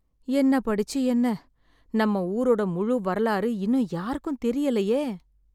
என்ன படிச்சு என்ன, நம்ம ஊரோட முழு வரலாறு இன்னும் யாருக்கும் தெரியலையே.